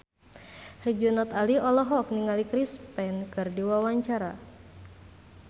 Herjunot Ali olohok ningali Chris Pane keur diwawancara